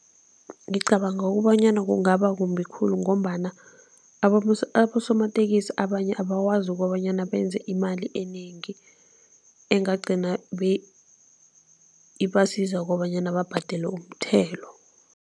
Ngicabanga ukobanyana kungaba kumbi khulu ngombana abosomatekisi abanye abakwazi kobanyana benze imali enengi, engagcina ibasiza kobanyana babhadele umthelo.